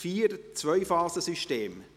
4.4 Zwei-Phasen-System